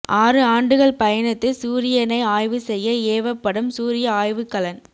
ஆறு ஆண்டுகள் பயணத்து சூரியனை ஆய்வு செய்ய ஏவப்படும் சூரிய ஆய்வுக்கலன்